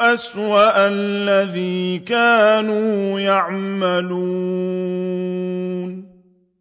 أَسْوَأَ الَّذِي كَانُوا يَعْمَلُونَ